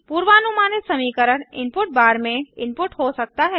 पूर्वानुमानित समीकरण input bar में इनपुट हो सकता है